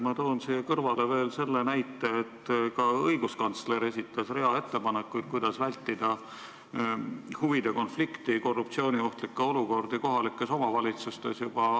Ma toon siia kõrvale veel selle näite, et ka õiguskantsler esitas juba aasta tagasi rea ettepanekuid, kuidas vältida huvide konflikti, korruptsiooniohtlikke olukordi kohalikes omavalitsustes.